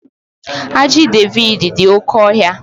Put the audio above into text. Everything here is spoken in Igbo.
Ajị Devid dị oke ohia